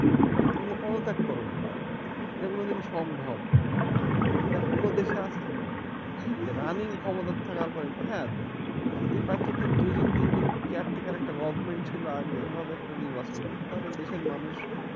তুমি তো পদত্যাগ করোনি এটা কোন দিন সম্ভব? এটা কোন দেশে আছে যে running ক্ষমতা থাকার পরে হ্যাঁ যদি পারতো দুইজন তিনজন caretaker একটা government ছিলো আগে এভাবে একটা নির্বাচন হোক তাহলে দেশের মানুষ